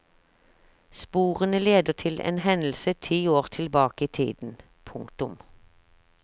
Sporene leder til en hendelse ti år tilbake i tiden. punktum